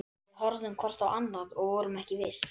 Við horfðum hvort á annað- og vorum ekki viss.